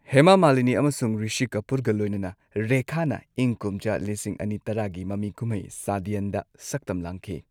ꯍꯦꯃꯥ ꯃꯥꯂꯤꯅꯤ ꯑꯃꯁꯨꯡ ꯔꯤꯁꯤ ꯀꯄꯨꯔꯒ ꯂꯣꯏꯅꯅ, ꯔꯦꯈꯥꯅ ꯏꯪ ꯀꯨꯝꯖꯥ ꯂꯤꯁꯤꯡ ꯑꯅꯤ ꯇꯔꯥꯒꯤ ꯃꯃꯤ ꯀꯨꯝꯍꯩ ꯁꯗꯤꯌꯥꯟꯗ ꯁꯛꯇꯝ ꯂꯥꯡꯈꯤ꯫